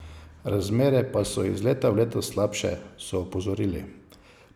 Razmere pa so iz leta v leto slabše, so opozorili.